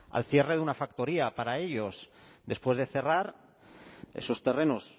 al cierre de una factoría para ellos después de cerrar esos terrenos